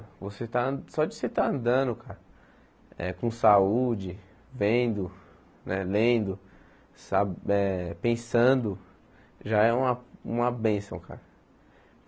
Você estar só de você estar andando cara eh com saúde, vendo né, lendo, sa eh pensando, já é uma uma bênção cara.